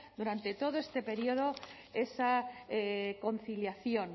durante todo este periodo esa conciliación